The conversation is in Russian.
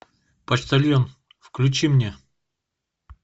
почтальон включи мне